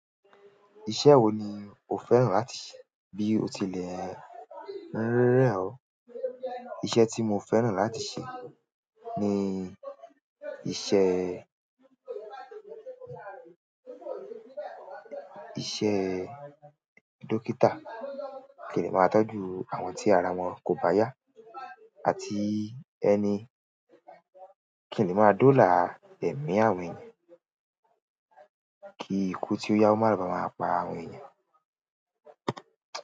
Iṣẹ́ wo ni o fẹ́ràn láti ṣe bí ó tilẹ̀ rẹ̀ ọ́? Iṣẹ́ tí mo fẹ́ràn láti ṣe ni iṣẹ́, iṣẹ́ dókítà. Kí n lè máa tọ́jú àwọn tí ara wọn kò bá yá àti ẹni kí n lè máa dọ́là ẹ̀mí àwọn ènìyàn kí ikú tí ó yáwó má báa máa pa àwọn ènìyàn.